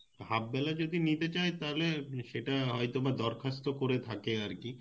half বেলা যদি নিতে চাই তাহলে সেটা হয়তোবা দরখাস্ত করে থাকে আরকি